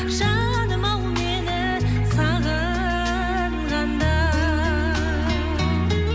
жаным ау мені сағынғанда